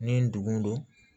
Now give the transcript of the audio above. Ni ndugun don